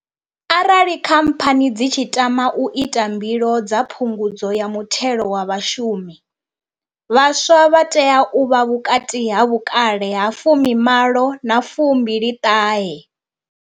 Arali khamphani dzi tshi tama u ita mbilo dza phungudzo ya muthelo wa vhashumi, vhaswa vha tea u vha vhukati ha vhukale ha fumi malo na fumbili ṱahe.